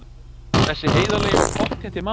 Þessi heiðarlegi og pottþétti maður!